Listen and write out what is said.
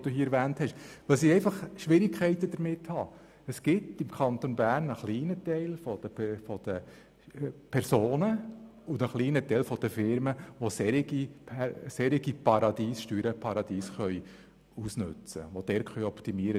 Womit ich Schwierigkeiten habe, ist, dass es im Kanton Bern einen kleinen Teil von Personen und Firmen gibt, die solche Steuerparadiese ausnützen können.